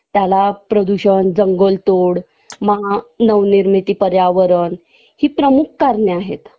त्याला प्रदूषण जंगलतोड मानवनिर्मिती पर्यावरण हि प्रमुख कारणे आहेत